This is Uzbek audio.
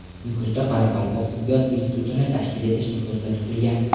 Nukusda Qoraqalpoq tibbiyot institutini tashkil etish ko‘zda tutilgan.